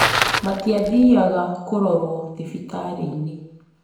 Matiathiaga kũrorwo thibitarĩinĩ